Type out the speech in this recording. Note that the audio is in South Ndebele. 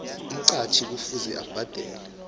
umqhatjhi kufuze abhadale